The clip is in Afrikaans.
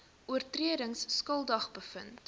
oortredings skuldig bevind